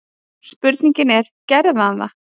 Spurningin er: Gerir hann það?